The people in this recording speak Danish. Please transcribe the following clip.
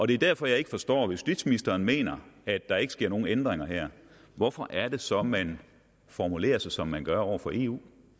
det er derfor jeg ikke forstår at justitsministeren mener at der ikke sker nogen ændringer her hvorfor er det så man formulerer sig som man gør over for eu